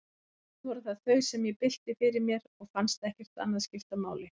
Samt voru það þau, sem ég bylti fyrir mér, og fannst ekkert annað skipta máli.